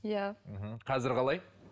иә мхм қазір қалай